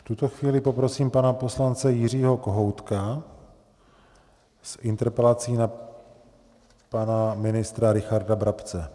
V tuto chvíli poprosím pana poslance Jiřího Kohoutka s interpelací na pana ministra Richarda Brabce.